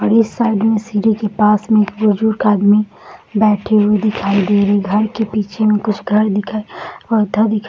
और इस साइड में पेड़ के पास मे सीढ़ी के पास मे एक बुजुर्ग आदमी बैठे हुए दिखाई दे रहे हैं | घर के पीछे मे कुछ घर दिखाई